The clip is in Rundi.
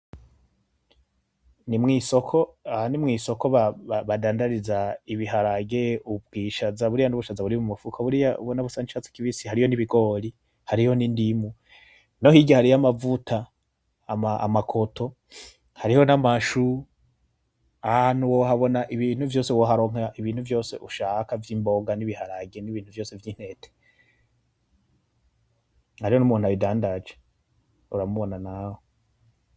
Nimwisoko aha nimwisoko bandadariza ibiharage, ubwishaza, buriya nubushaza buri mumufuko, buriya ubona busa nkicatsi kibisi. Hariyo n'ibigori hariyo n'indimu, nohirya hariyo amavuta, amakoto, hariho n'amashu. ahahantu wohabona ibintu vyose, woharonka ibintu ivyo ushaka vyimboga nibiharage nibintu vyose vy'intete. Hariho numuntu abidandaje uramubona nawe.